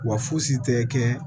Wa fosi tɛ kɛ